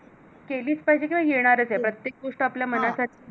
केलीच पाहिजे किंवा येणारच हे प्रत्येक गोष्ट आपल्या मनासारखी